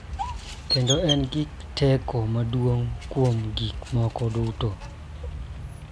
Kendo en gi teko maduong� kuom gik moko duto .